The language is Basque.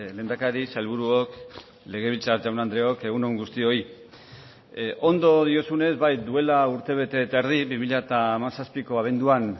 lehendakari sailburuok legebiltzar jaun andreok egun on guztioi ondo diozunez bai duela urte bete eta erdi bi mila hamazazpiko abenduan